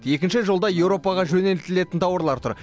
екінші жолда еуропаға жөнелтілетін тауарлар тұр